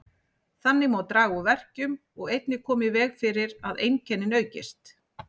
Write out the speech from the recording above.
Þannig má draga úr verkjum og einnig koma í veg fyrir að einkennin aukist.